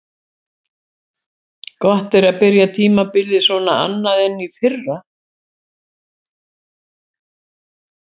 Gott að byrja tímabilið svona annað en í fyrra.